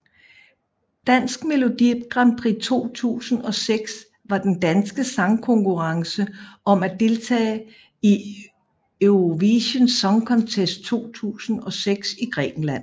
Dansk Melodi Grand Prix 2006 var den danske sangkonkurrence om at deltage i Eurovision Song Contest 2006 i Grækenland